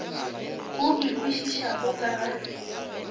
o e kwešišago ka ga